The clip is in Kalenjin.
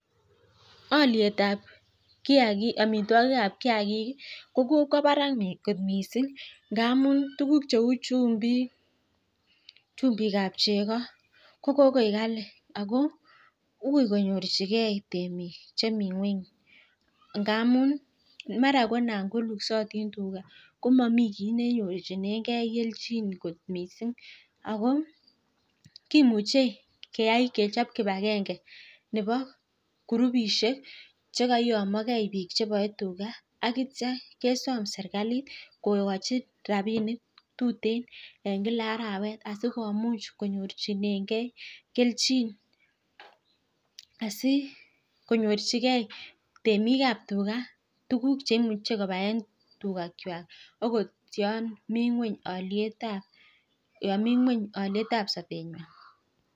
Olietab amitwagikab kiagik ko kokwo barak kot mising. Ngamun tukuk cheu chumbik ab cheko ko kokoek kali ako akoi konyorchigei temik chemi ng'weny. Ndamun mara konan luksotin tuga koma kiit nenyorchinengei keljin kot mising. Ako kimuchei kechop kibagenge nebo kurupishek chekaiyomiagei biik cheboei tuga akitio kesom serkalit kokochi rapinik tuteen en kila arawet asi komuch konyorchinegei asikonyorchikei tyemikab tuga tuguk cheboe tuga akot yo mi ng'weny olietab sobeng'wai.